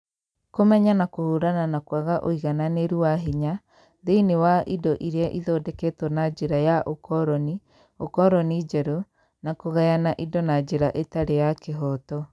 Kũmenya na kũhũrana na kwaga ũigananĩru wa hinya thĩinĩ wa indo iria ithondeketwo na njĩra ya ũkoroni, ũkoroni njerũ, na kũgayana indo na njĩra ĩtarĩ ya kĩhooto.